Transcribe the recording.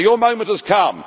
So your moment has come.